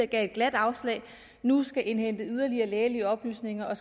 et glat afslag nu skal indhente yderligere lægelige oplysninger og